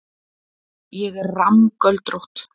Ég er rammgöldrótt.